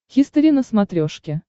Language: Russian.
хистори на смотрешке